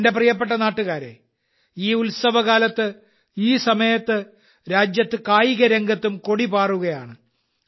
എന്റെ പ്രിയപ്പെട്ട നാട്ടുകാരേ ഈ ഉത്സവകാലത്ത് ഈ സമയത്ത് രാജ്യത്ത് കായികരംഗത്തും കൊടി പാറുകയാണ്